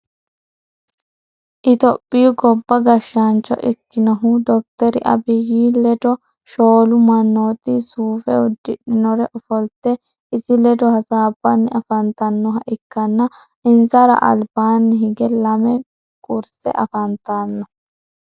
ethihopiyu gobba gashaancho ikinnohu dokiteri Abiyi leddo shoolu manooti suufe udidhinori ofolitte isi leddo hasabanni afanitannoha ikanna insara alibaani higge lamme kurisse afantanno.